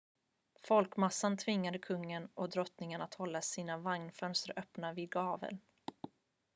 folkmassan tvingade kungen och drottningen att hålla sina vagnsfönster öppna på vid gavel